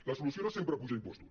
la solució no sempre és apujar impostos